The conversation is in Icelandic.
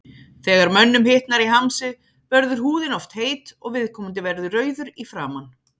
Þegar mönnum hitnar í hamsi verður húðin oft heit og viðkomandi verður rauður í framan.